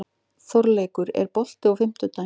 Þorleikur, er bolti á fimmtudaginn?